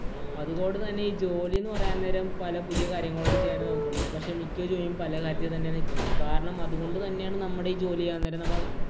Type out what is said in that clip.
അതിനോട് തന്നെ ഈ ജോലി എന്ന് പറയാൻ നേരം പല പുതിയ കാര്യങ്ങൾ ചെയ്യാനാണ് നോക്കുന്നത്. പക്ഷേ മിക്ക ജോലിയും പല കാര്യത്തില്‍ തന്നെയാ നിക്കുന്നത്. കാരണം അതുകൊണ്ട് തന്നെയാണ് നമ്മടെ ഈ ജോലി ചെയ്യാന്‍ നേരം നമ്മൾ